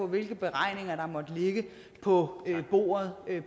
hvilke beregninger der måtte ligge på bordet